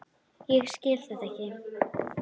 Ég skil þetta ekki!